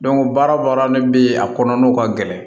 baara o baara ne bɛ ye a kɔnɔna ka gɛlɛn